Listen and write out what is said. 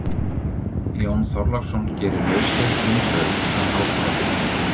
Jón Þorláksson gerir lausleg frumdrög að háskólabyggingu